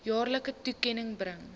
jaarlikse toekenning bring